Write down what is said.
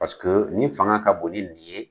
Paseke nin fanga ka bon ni nin ye.